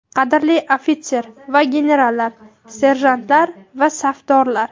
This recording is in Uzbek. Qadrli ofitser va generallar, serjantlar va safdorlar!.